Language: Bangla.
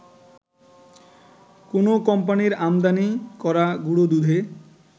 কোনো কোম্পানির আমদানি করা গুঁড়োদুধে